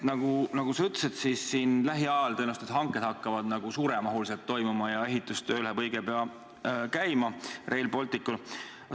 Nagu sa ütlesid, hakkavad siin lähiajal toimuma tõenäoliselt suuremahulised hanked ja ehitustöö läheb õige pea Rail Balticul käima.